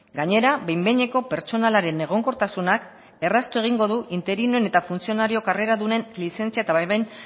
gainera behin behineko pertsonalaren egonkortasunak erraztu egingo du interinoen eta funtzionario karreradunen lizentzia eta baimen